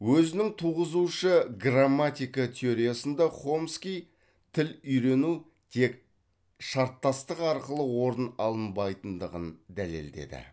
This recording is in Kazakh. өзінің туғызушы грамматика теориясында хомский тіл үйрену тек шарттастық арқылы орын алынбайтығын дәлелдеді